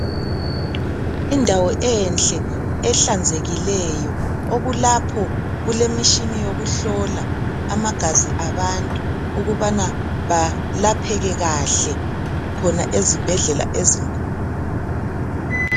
Indawo enhle ehlanzekileyo okulapho kulemishini yokuhlola amagazi abantu ukubana balapheke kahle khona ezibhedlela ezinkulu.